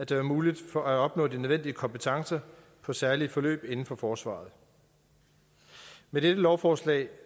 være muligt at opnå de nødvendige kompetencer på særlige forløb inden for forsvaret med dette lovforslag